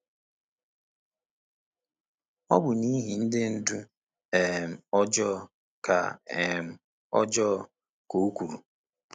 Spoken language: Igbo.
“Ọ bụ n’ihi ndị ndu um ọjọọ,” ka um ọjọọ,” ka o kwuru.